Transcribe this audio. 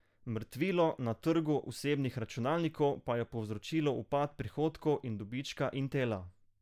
Mrtvilo na trgu osebnih računalnikov pa je povzročilo upad prihodkov in dobička Intela.